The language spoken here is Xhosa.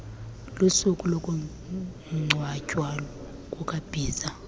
lusuku lokungcwatywa kukabhiza